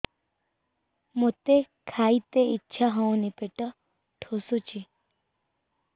ମୋତେ ଖାଇତେ ଇଚ୍ଛା ହଉନି ପେଟ ଠେସୁଛି